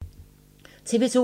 TV 2